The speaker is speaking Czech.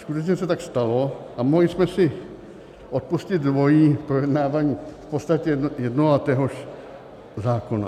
Skutečně se tak stalo a mohli jsme si odpustit dvojí projednávání v podstatě jednoho a téhož zákona.